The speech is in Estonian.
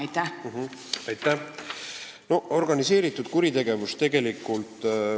Aitäh!